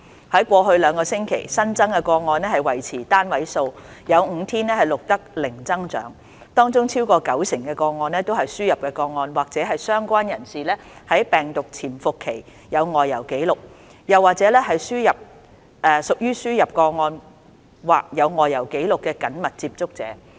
在過去兩個星期，新增個案維持單位數，有5天更錄得零增長，而新增個案當中，超過九成都是輸入個案或是相關人士在病毒潛伏期有外遊紀錄，又或者是屬於輸入個案或有外遊紀錄人士的緊密接觸者。